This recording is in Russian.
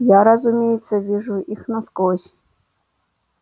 я разумеется вижу их насквозь